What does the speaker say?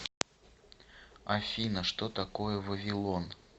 афина что такое вавилон